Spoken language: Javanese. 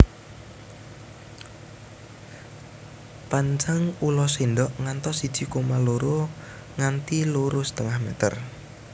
Panjang ula sendok ngantos siji koma loro nganti loro setengah meter